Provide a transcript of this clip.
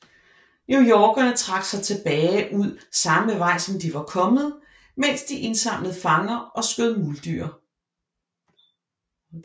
Newyorkerne trak sig tilbage ad samme vej som de var kommet mens de indsamlede fanger og skød muldyr